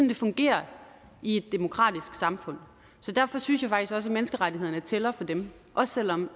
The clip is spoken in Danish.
det fungerer i et demokratisk samfund derfor synes jeg faktisk også at menneskerettighederne tæller for dem også selv om